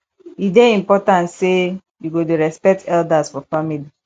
e dey important sey you go dey respect elders for family